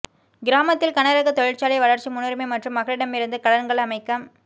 கிராமத்தில் கனரகத் தொழிற்சாலை வளர்ச்சி முன்னுரிமை மற்றும் மக்களிடமிருந்து கடன்கள் அமைக்க